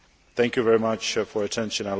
Thank you very much for your attention.